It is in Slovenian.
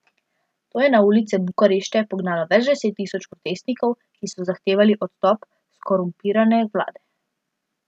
To je na ulice Bukarešte pognalo več deset tisoč protestnikov, ki so zahtevali odstop skorumpirane vlade.